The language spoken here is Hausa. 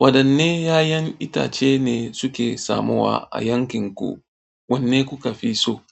Wadanne 'ya'yan itace ne suke samuwa a yankin ku? Wanne kuka fi so?